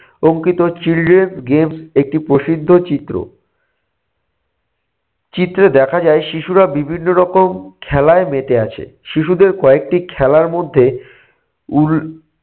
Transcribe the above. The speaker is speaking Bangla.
অঙ্কিত চিলড্রেন্স গেমস একটি প্রসিদ্ধ চিত্র। চিত্রে দেখা যায় শিশুরা বিভিন্ন রকম খেলায় মেতে আছে। শিশুদের কয়েকটি খেলার মধ্যে